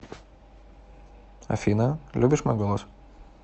афина любишь мой голос